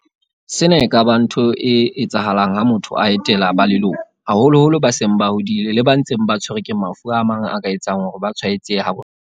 Sena e ka ba ntho e etsahalang ha motho a etela ba leloko, haholoholo ba seng ba hodile le ba ntseng ba tshwerwe ke mafu a mang a ka etsang hore ba tshwae tsehe ha bonolo.